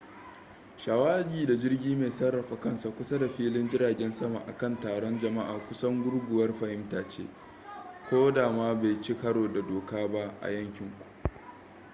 shawagi da jirgi mai sarrafa kansa kusa da filin jiragen sama a kan taron jama'a kusan gurguwar fahimta ce ko da ma bai ci karo da doka ba a yankin ku